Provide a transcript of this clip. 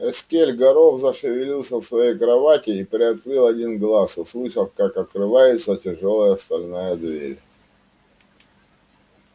эскель горов зашевелился в своей кровати и приоткрыл один глаз услышав как открывается тяжёлая стальная дверь